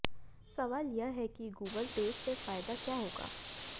सवाल यह है कि गूगल तेज से फायदा क्या होगा